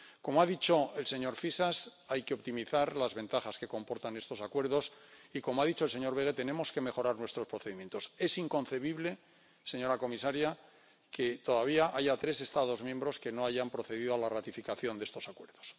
Como ha dicho el señor Fisas, hay que optimizar las ventajas que comportan estos Acuerdos y, como ha dicho el señor Böge, tenemos que mejorar nuestros procedimientos. Es inconcebible, señora comisaria, que todavía haya tres Estados miembros que no hayan procedido a la ratificación de estos Acuerdos.